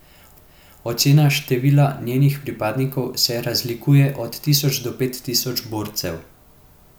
Ocene števila njenih pripadnikov se razlikujejo od tisoč do pet tisoč borcev.